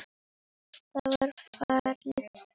Það var farið að gjósa.